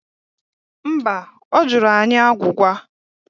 Mba, ọ jụrụ anyị agwụgwa